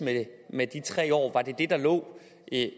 med de tre år var det det der lå